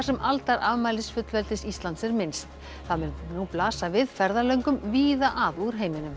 sem aldarafmælis fullveldis Íslands er minnst það mun nú blasa við ferðalöngum víða að úr heiminum